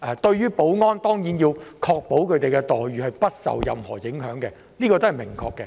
當然，我們要確保保安員的待遇不受任何影響，這一點十分明確。